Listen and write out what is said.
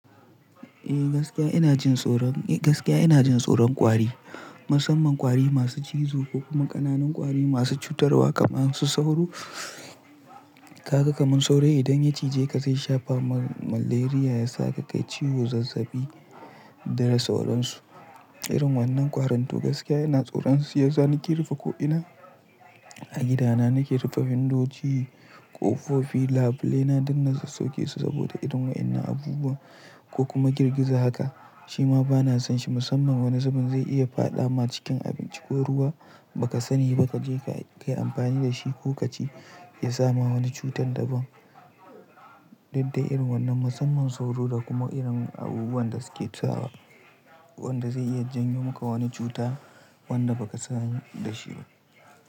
Eh gaskiya ina jin tsoron, gaskiya ina jin tsoron ƙwari, musamman ƙwari masu cizo ko kuma ƙananan ƙwari masu cutarwa kamar su sauro. Haka kamar sauro idan ya cije ka zai shafa ma malaria ya sa ka kai ciwo zazzabi da sauransu. Irin wannan ƙwarin toh gaskiya ina tsoron su. Shiyasa nake rufe ko'ina a gidana, nake rufe wu try guyndogi, ƙofofi, labule na dinnan su sauke su saboda irin waɗannan abubuwa ko kuma girgiza haka. Shima bana san shi musamman wane zubin zai iya faɗa ma cikin abinci ko ruwa ba ka sani ba ka je ka yi amfani da shi ko ka ci ya sama wani cutar da ba. Duk da irin wannan musamman sauro da kuma irin abubuwan da suke tusawa, wanda zai iya janyo muka wani cuta wanda baka sani da shi ba.